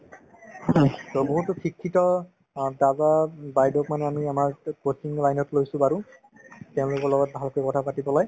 বহুতো শিক্ষিত অ তাৰপৰা বাইদেউক মানে আমি আমাৰ coaching line ত লৈছো বাৰু তেওঁলোকৰ লগত ভালকে কথা পাতি পেলায়